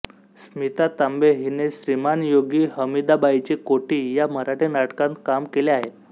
स्मिता तांबे हिने श्रीमानयोगी हमीदाबाईची कोठी या मराठी नाटकांत काम केले आहे